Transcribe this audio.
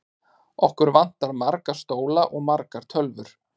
Okkur vantar marga stóla og margar tölvur.